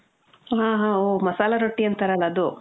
ಆ, ಹಾ, ಓ, ಮಸಾಲ ರೊಟ್ಟಿ ಅಂತಾರಲ್ಲ ಅದು.